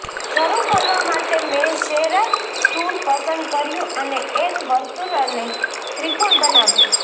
શરૂ કરવા માટે મેં શૅરર ટૂલ પસંદ કર્યું અને એક વર્તુળ અને ત્રિકોણ બનાવ્યો